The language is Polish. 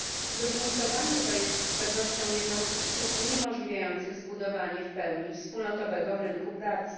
Zróżnicowanie to jest z pewnością jedną z przyczyn uniemożliwiających zbudowanie w pełni wspólnotowego rynku pracy.